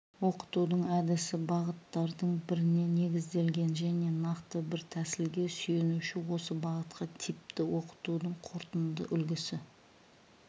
оқытудың әдісі бағыттардың біріне негізделген және нақты бір тәсілге сүйенуші осы бағытқа типті оқытудың қорытынды үлгісі